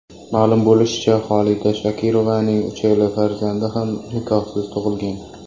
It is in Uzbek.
Ma’lum bo‘lishicha, Xolida Shokirovaning uchala farzandi ham nikohsiz tug‘ilgan.